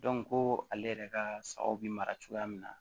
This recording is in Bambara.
ko ale yɛrɛ ka sagaw bi mara cogoya min na